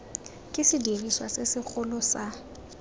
ke sediriswa se segolo sa